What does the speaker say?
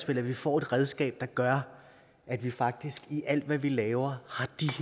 at vi får et redskab der gør at vi faktisk i alt hvad vi laver